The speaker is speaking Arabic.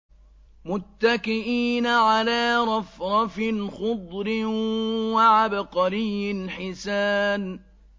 مُتَّكِئِينَ عَلَىٰ رَفْرَفٍ خُضْرٍ وَعَبْقَرِيٍّ حِسَانٍ